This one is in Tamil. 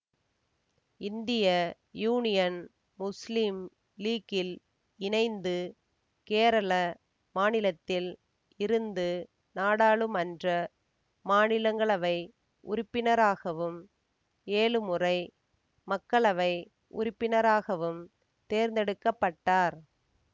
இந்திய யூனியன் முஸ்லிம் லீக்கில் இணைந்து கேரள மாநிலத்தில் இருந்து நாடாளுமன்ற மாநிலங்களவை உறுப்பினராகவும் ஏழு முறை மக்களவை உறுப்பினராகவும் தேர்ந்தெடுக்க பட்டார்